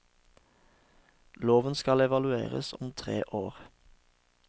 Loven skal evalueres om tre år.